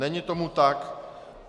Není tomu tak.